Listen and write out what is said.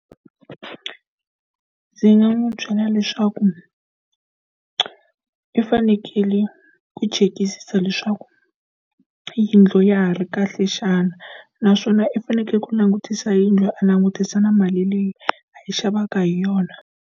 Ndzi nga n'wi byela leswaku i fanekele ku chekisisa leswaku yindlu ya ha ri kahle xana. Naswona i fanekele ku langutisa yindlu a langutisa na mali leyi a yi xavaka hi yona.